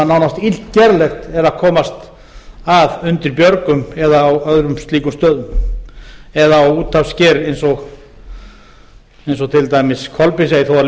nánast illgerlegt er að komast að undir björgum eða á öðrum slíkum stöðum eða á úthafssker eins og til dæmis kolbeinsey þó að